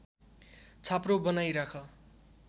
छाप्रो बनाई राख